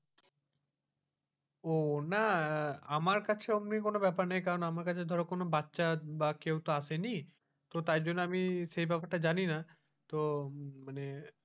ও না আহ আমার কাছে অমনি কোন ব্যাপার নেই কারণ আমার কাছে ধর কোন বাচ্চার বা কেউ তো আসেনি তো তাই জন্য আমি সেই ব্যাপারে জানি না, তো মানে,